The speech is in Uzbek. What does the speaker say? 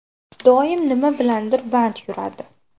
Doim nima bilandir band yuradi.